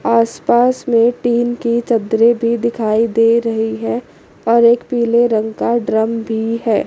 आस पास में टिन की चदरे भी दिखाई दे रही है और एक पीले रंग का ड्रम भी है।